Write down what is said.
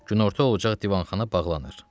Günorta olacaq, divanxana bağlanır.